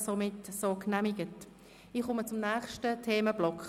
Wir kommen zum nächsten Themenblock: